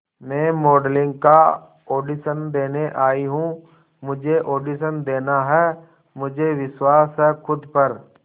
मैं मॉडलिंग का ऑडिशन देने आई हूं मुझे ऑडिशन देना है मुझे विश्वास है खुद पर